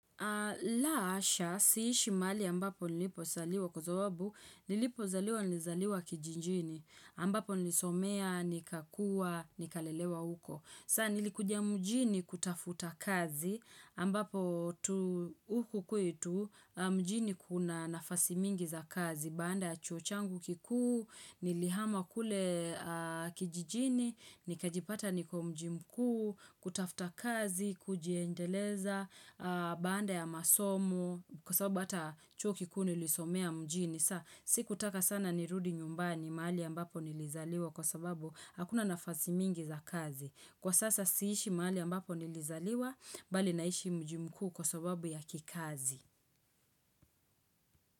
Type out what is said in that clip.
La hasha, siishi mahali ambapo nilipo zaliwa kwa sababu, nilipo zaliwa nilizaliwa kijijini, ambapo nilisomea, nikakua, nikalelewa huko. Sasa nilikuja mjini kutafuta kazi, ambapo huku kwetu, mjini kuna nafasi mingi za kazi, baada ya chuo changu kikuu, nilihama kule kijijini, ni kajipata niko mji mkuu, kutafta kazi, kujiendeleza, baada ya masomo Kwa sababu ata chuo kikuu nilisomea mjini sa sikutaka sana nirudi nyumbani mahali ambapo nilizaliwa kwa sababu hakuna nafasi mingi za kazi Kwa sasa siishi mahali ambapo nilizaliwa, bali naishi mji mkuu kwa sababu ya kikazi.